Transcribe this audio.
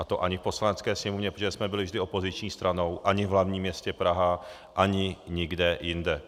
A to ani v Poslanecké sněmovně, protože jsme byli vždy opoziční stranou, ani v hlavním městě Praha, ani nikde jinde.